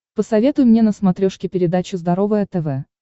посоветуй мне на смотрешке передачу здоровое тв